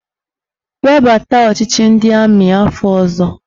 Webata ọchịchị ndị amị afọ ọzọ!